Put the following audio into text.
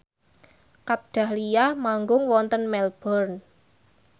Kat Dahlia manggung wonten Melbourne